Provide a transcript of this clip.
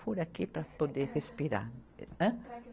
Fura aqui para poder respirar. Ã? Traqueos